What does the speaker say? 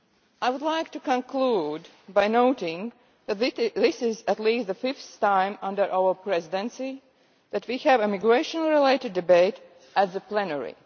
I would like to conclude by noting that this is at least the fifth time under our Presidency that we have had a migration related debate at the plenary.